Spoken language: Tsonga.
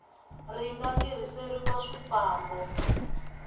ri nga ta tirhiseriwa swifambo